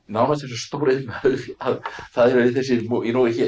stóriðnaður það eru þessir